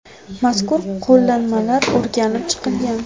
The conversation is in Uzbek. Mazkur qo‘llanmalar o‘rganib chiqilgan.